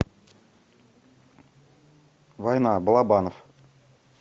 война балабанов